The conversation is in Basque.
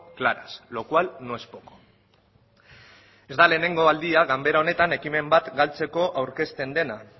claras lo cual no es poco ez da lehenengo aldia ganbara honetan ekimen bat galtzeko aurkezten dena